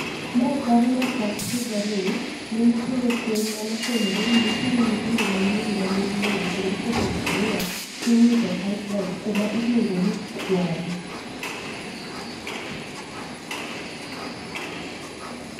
Mae paro na chak higa ni. Ne nitiere fweny manofwenyore ni nitiere nyithindo ma nyire mane inego kendo ikete gunia tiwito pipeline kama iluongo ni Kware.